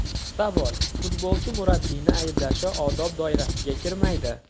Savol: Futbolchi murabbiyni ayblashi odob doirasiga kirmaydi?!